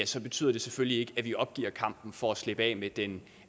så betyder det selvfølgelig ikke at vi opgiver kampen for at slippe af med den